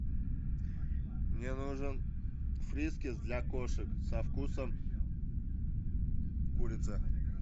мне нужен фрискис для кошек со вкусом курицы